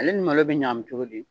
Ale ni malo bɛ ɲagami cogo di ?